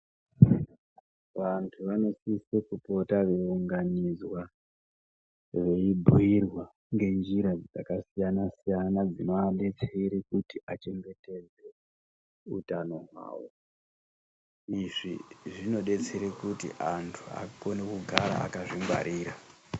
Vantu vanosiso kupota veiunganidzwa veibhuyirwa ngenjira dzakasiyana siyana dzinoadetsera kuti vachengetedze utano hwavo izvi zvinodetsera kuti antu akone kugara akazvingwarira.